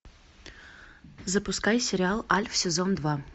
запускай сериал альф сезон два